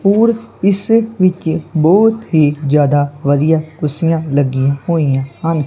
ਹੋਰ ਇਸ ਵਿੱਚ ਬਹੁਤ ਹੀ ਜਿਆਦਾ ਵਧੀਆ ਕੁਰਸੀਆਂ ਲੱਗੀਆਂ ਹੋਈਆਂ ਹਨ।